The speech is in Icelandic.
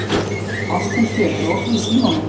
Ásthildur, er opið í Símanum?